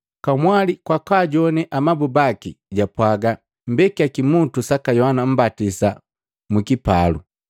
Kamwali kwa kwaajowane amabu baki, japwaga, “Mbekiya kimutu saka Yohana Mmbatisa mu kipalu.”